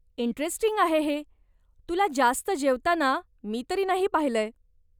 Interesting आहे हे, तुला जास्त जेवताना मी तरी नाही पाहिलंय.